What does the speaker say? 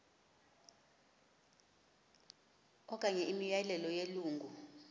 okanye imiyalelo yelungu